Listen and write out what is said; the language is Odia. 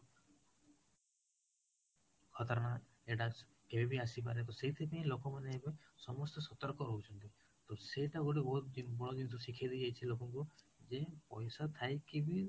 ଏଟା କେଭେ ବି ଆସିପାରେ ସେଠି ପାଇଁ ଲୋକ ମାନେ ଏବେ ସମସ୍ତେ ସତର୍କ ରହୁଛନ୍ତି ତ ସେତ ଗୋଟେ ବହୁତ ବଡ଼ ଜିନିଷ ଶିଖେଇ ଦେଇ ଯାଇଛି ଲୋକଙ୍କୁ ଯେ ପଇସା ଥାଇକି ବି